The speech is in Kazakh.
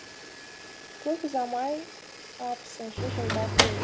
көп ұзамай алпысыншы жылдар келді